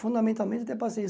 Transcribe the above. Fundamentalmente ter paciência.